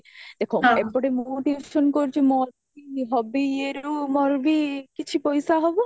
ଦେଖ ଏପଟେ ମୁଁ tuition କରୁଚି ମୋ hobby ଇଏରୁ ମୋରବି କିଛି ପଇସା ହବ